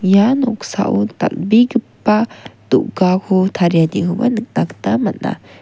ia noksao dal·begipa do·gako tarianikoba nikna gita man·a.